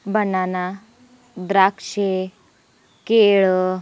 banana द्राक्षे केळ--